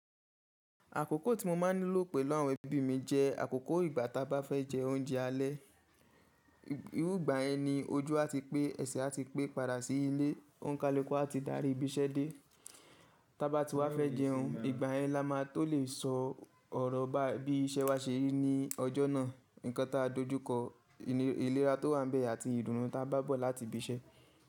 Àkókò tí mo máa ń nílò pè àwon ẹ́bí mi jẹ́ àkókò ìgbà tá bá fẹ́ jẹ oúnjẹ alẹ́. Irú ìgbà yẹn ni ojú àti pé ẹsẹ̀ àti pé padà sí ilé, òǹkàluku àti darí ibi iṣẹ́ dé. Tá bá ti wá fẹ́ jẹun, ìgbà yẹn la máa tó lè sọ ọ̀rọ̀ bá, bí iṣẹ́ wa ṣe rí ní ọjọ́ náà, nǹkan ta dojú kọ, ìlera tó wà ń bẹ̀ àti ìdunú ta bá bọ̀ láti ibi iṣẹ́.